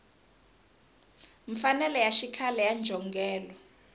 mfanelo ya xikhale ya njhongelo